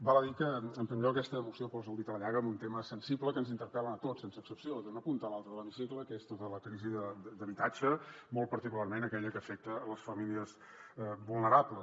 val a dir que en primer lloc aquesta moció posa el dit a la llaga en un tema sensible que ens interpel·la a tots sense excepció d’una punta a l’altra de l’hemicicle que és tota la crisi d’habitatge molt particularment aquella que afecta les famílies vulnerables